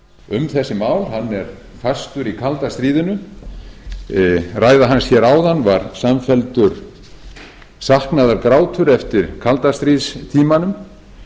um þessi mál hann er fastur í kalda stríðinu ræða hans áðan var samfelldur saknaðargrátur eftir kaldastríðstímanum